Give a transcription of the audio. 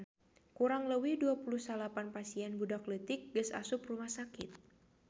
Kurang leuwih 29 pasien budak leutik geus asup rumah sakit